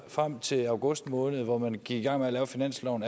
frem til august måned hvor man gik i gang med at lave finansloven